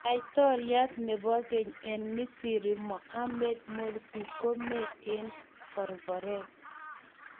Laitoriat nebo keny eng Misri Mohammed Morsi kome eng korkoret.